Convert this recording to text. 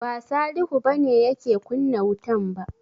Ba Salihu ba ne yake kunna wutan ba.